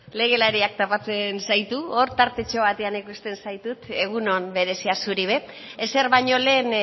legelariak tapatzen zaitu hor tartetxo bateak ikusten zaitut egun on berezia zuri ere ezer baino lehen